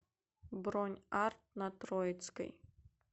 бронь арт на троицкой